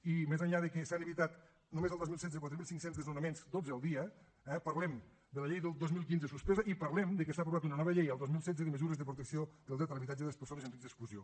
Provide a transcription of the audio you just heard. i més enllà de que s’han evitat només al dos mil setze quatre mil cinc cents desnonaments dotze al dia eh parlem de la llei del dos mil quinze suspesa i parlem de que s’ha aprovat una nova llei el dos mil setze de mesures de protecció del dret a l’habitatge de les persones en risc d’exclusió